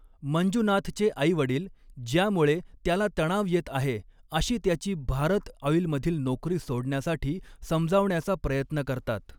मंजुनाथचे आई वडील, ज्यामुळे त्याला तणाव येत आहे अशी त्याची भारत ऑईलमधील नोकरी सोडण्यासाठी समजावण्याचा प्रयत्न करतात.